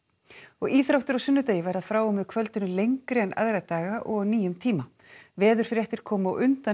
íþróttir á sunnudegi verða frá og með kvöldinu lengri en aðra daga og á nýjum tíma veðurfréttir koma á undan